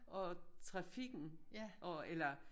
Og trafikken og eller